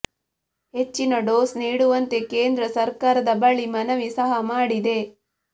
ಹೆಚ್ಚಿನ ಡೋಸ್ ನೀಡುವಂತೆ ಕೇಂದ್ರ ಸರ್ಕಾರದ ಬಳಿ ಮನವಿ ಸಹ ಮಾಡಿದೆ